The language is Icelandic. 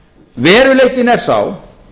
veruleikinn er sá